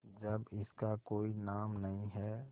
जब इसका कोई नाम नहीं है